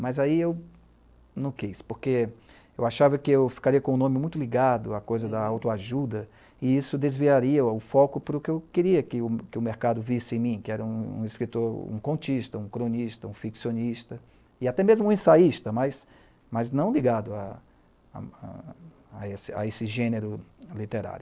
Mas aí eu não quis, porque eu achava que eu ficaria com o nome muito ligado à coisa da autoajuda e isso desviaria o foco para o que eu queria que o mercado visse em mim, que era um escritor, um contista, um cronista, um ficcionista e até mesmo um ensaísta, mas não ligado a esse gênero literário.